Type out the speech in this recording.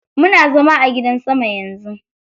Muna zama a gidan sama yanzu.